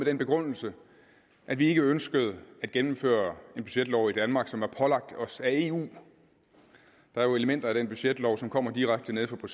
den begrundelse at vi ikke ønskede at gennemføre en budgetlov i danmark som er pålagt os af eu der er jo elementer af den budgetlov som kommer direkte nede fra